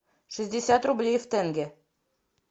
шестьдесят рублей в тенге